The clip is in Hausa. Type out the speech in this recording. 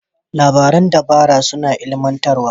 Labaran dabara suna ilimantarwa.